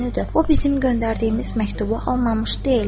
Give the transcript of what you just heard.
O bizim göndərdiyimiz məktubu almamış deyil.